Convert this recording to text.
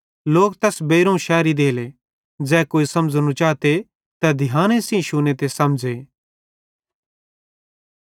लोक तैस बेइरोवं शेरी देले ज़ै कोई समझ़नू चाते तै ध्याने सेइं शुने ते समझ़े